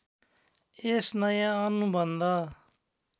यस नयाँ अनुबन्ध